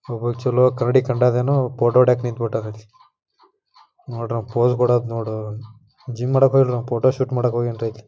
ಒಬ್ಬ ಚಲೋ ಕನ್ನಡಿ ಕಂಡೆದೇನೋ ಫೋಟೋ ಹೊಡ್ಯಾಕ್ ನಿಂತ್ಬಿಟ್ಟ್ಯಾರ್ ಅಲ್ಲ. ನೋಡ್ರ ಅವ ಪೋಸ್ ಕೊಡದು ನೋಡ್ರಿ ಜಿಮ್ ಮಾಡಾಕ್ ಹೋಗಿಲ್ರಿ ಫೋಟೋಶೂಟ್ ಮಾಡಾಕ್ ಹೋಗ್ಯಾನ್ ರಿ ಅಲ್ಲ.